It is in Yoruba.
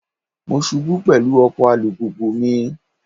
Mo ṣubú pẹ̀lú ọkọ̀ alùpùpù mi.